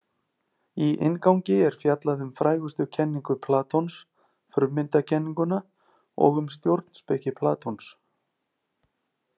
Í inngangi er fjallað um frægustu kenningu Platons, frummyndakenninguna, og um stjórnspeki Platons.